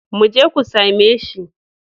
Mu je ku same shi.